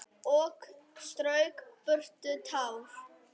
Og strauk burtu tár.